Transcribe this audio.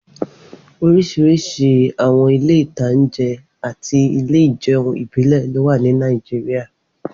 Oríṣiríṣi àwọn ilé-ìtańjẹ àti ilé ìjẹun ìbílẹ̀ ló wà ní Nàìjíríyà